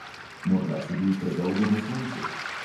Morda si bil predolgo na soncu.